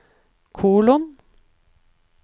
kolon